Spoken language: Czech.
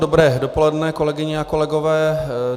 Dobré dopoledne, kolegyně a kolegové.